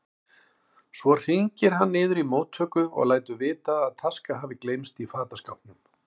Svo hringir hann niður í móttöku og lætur vita að taska hafi gleymst í fataskápnum.